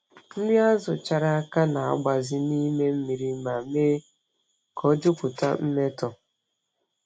Nri azụ chara aka na-agbaze n’ime mmiri ma mee ka ọ jupụta mmetọ.